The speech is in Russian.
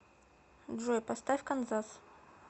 джой поставь канзас